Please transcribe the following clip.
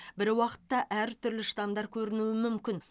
бір уақытта әртүрлі штамдар көрінуі мүмкін